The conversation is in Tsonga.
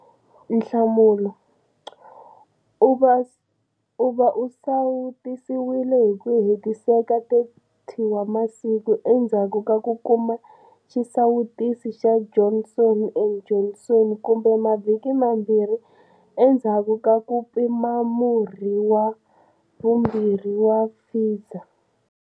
Nhlamulo- U va u sawutisiwile hi ku hetiseka 30 wa masiku endzhaku ka ku kuma xisawutisi xa Johnson and Johnson kumbe mavhiki mambirhi endzhaku ka mpimamurhi wa vumbirhi wa Pfizer.